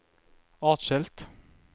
atskilt